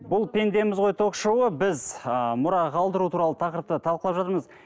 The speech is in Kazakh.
бұл пендеміз ғой ток шоуы біз ы мұра қалдыру туралы тақырыпты талқылап жатырмыз